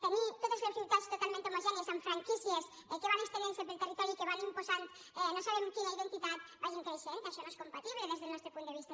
tenir totes les ciutats totalment homogènies amb franquícies que van estenent se pel territori i que van imposant no sabem quina identitat que vagin creixent això no és compatible des del nostre punt de vista